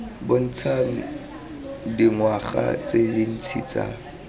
bontshang dingwaga tse dintsi tsa